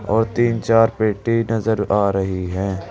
और तीन चार पेटी नजर आ रही है।